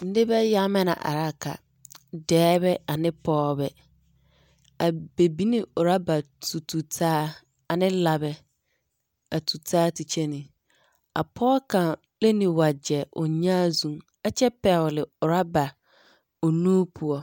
Nebɛ yaŋemɛ na a ka dɛɛbɛane pɔɔbɛ a bɛ biŋ ne oraba tutu taa ane labɛ tu taa te kyeni a pɔge kaŋ le ne wagyɛ o nyaa zu ɛ kyɛ pɛgele oraba o nu poɔ.